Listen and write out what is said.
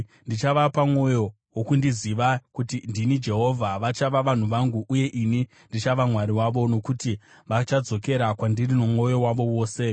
Ndichavapa mwoyo wokundiziva, kuti ndini Jehovha. Vachava vanhu vangu, uye ini ndichava Mwari wavo, nokuti vachadzokera kwandiri nomwoyo wavo wose.